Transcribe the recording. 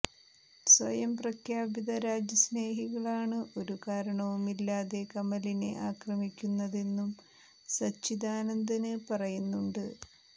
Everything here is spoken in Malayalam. സ്വയം പ്രഖ്യാപിത രാജ്യസ്നേഹികളാണ് ഒരു കാരണവുമില്ലാതെ കമലിനെ ആക്രമിക്കുന്നതെന്നും സച്ചിദാനന്ദന് പറയുന്നുണ്ട്